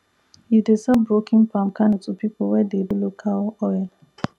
e dey sell broken palm kernel to people wey dey do local oil